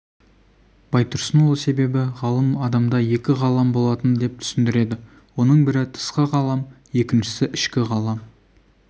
байтұрсынұлы себебі ғалым адамда екі ғалам болады деп түсіндіреді оның бірі тысқы ғалам екіншісі ішкі ғалам